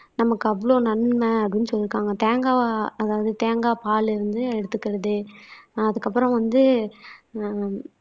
நமக்கு அவ்வளவு நன்மை அப்படின்னு சொல்லியிருக்காங்க தேங்காய் அதாவது தேங்காய் பால்ல இருந்து எடுத்துக்கிறது ஆஹ் அதுக்கப்புறம் வந்து ஆஹ்